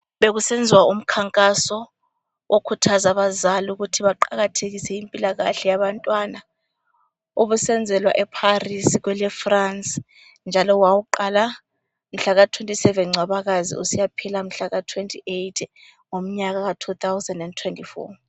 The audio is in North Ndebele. Bekusenziwa umkhankaso okukhuthaza abazali ukuthi baqakathekise impilakahle yabantwana. Ubusenzelwa eParis kweleFrance njalo wawuqala mhlaka 27 Ncwabakazi usiyaphela mhlaka 28 ngomnyaka ka 2024.